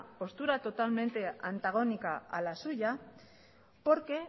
postura totalmente antagónica a la suya porque